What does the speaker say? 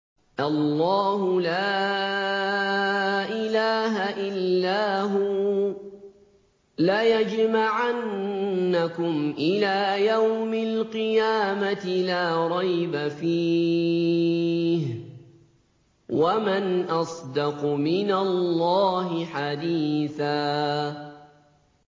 اللَّهُ لَا إِلَٰهَ إِلَّا هُوَ ۚ لَيَجْمَعَنَّكُمْ إِلَىٰ يَوْمِ الْقِيَامَةِ لَا رَيْبَ فِيهِ ۗ وَمَنْ أَصْدَقُ مِنَ اللَّهِ حَدِيثًا